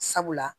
Sabula